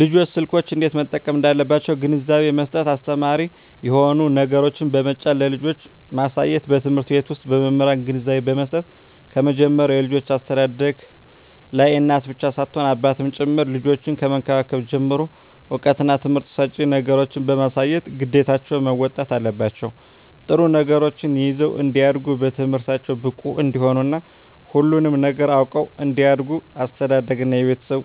ልጆች ስልኮችን እንዴት መጠቀም እንዳለባቸዉ ግንዛቤ መስጠት አስተማሪ የሆኑ ነገሮችን በመጫን ለልጆች ማሳየትበትምህርት ቤት ዉስጥ በመምህራን ግንዛቤ መስጠት ከመጀመሪያዉ የልጆች አስተዳደግላይ እናት ብቻ ሳትሆን አባትም ጭምር ልጆችን ከመንከባከብ ጀምሮ እዉቀትና ትምህርት ሰጭ ነገሮችን በማሳየት ግዴታቸዉን መወጣት አለባቸዉ ጥሩ ነገሮችን ይዘዉ እንዲያድጉ በትምህርታቸዉ ብቁ እንዲሆኑ እና ሁሉንም ነገር አዉቀዉ እንዲያድጉ አስተዳደርግ እና የቤተሰብ